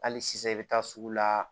Hali sisan i bɛ taa sugu la